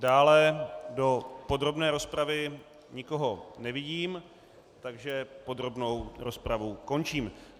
Dále do podrobné rozpravy nikoho nevidím, takže podrobnou rozpravu končím.